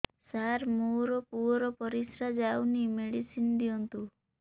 ସାର ମୋର ପୁଅର ପରିସ୍ରା ଯାଉନି ମେଡିସିନ ଦିଅନ୍ତୁ